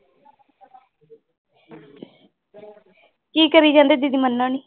ਕੀ ਕਰੀ ਜਾਂਦੇ